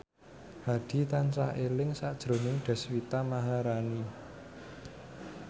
Hadi tansah eling sakjroning Deswita Maharani